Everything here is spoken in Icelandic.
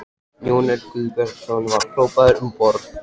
Jón Örn Guðbjartsson: Var hrópað um borð?